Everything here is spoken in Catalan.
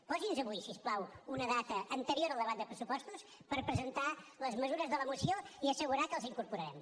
posi’ns avui si us plau una data anterior al debat de pressupostos per presentar les mesures de la moció i assegurar que les incorporarem